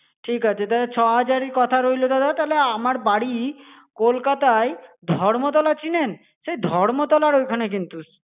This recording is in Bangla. ঠিক আছে তাহলে ছ হাজারই কথা রইলো দাদা তাহলে আমার বাড়ি কলকাতায় ধর্মতলা চিনেন? সেই ধর্মতলার ঐখানে কিন্তু.